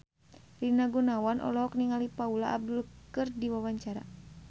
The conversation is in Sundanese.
Rina Gunawan olohok ningali Paula Abdul keur diwawancara